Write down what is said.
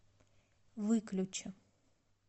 выключи